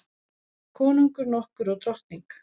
Konungur nokkur og drottning.